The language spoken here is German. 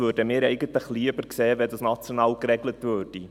Wir sähen es lieber, wenn das national geregelt würde.